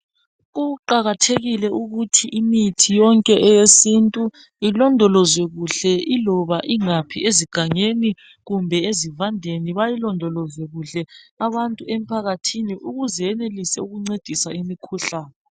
kuqhakathekile ukuthi imithi yone yesintu ilondolozwe kuhle iloba ingaphi ezigangeni kumbe ezibandeni bayilondoloze kuhle abantu emphakathini ukuze incedise imikhuhlaqne